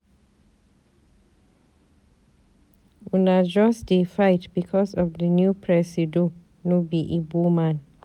Una just dey fight because di new presido no be Igbo man.